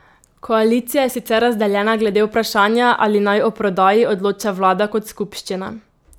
Koalicija je sicer razdeljena glede vprašanja, ali naj o prodaji odloča vlada kot skupščina.